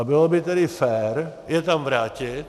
A bylo by tedy fér je tam vrátit.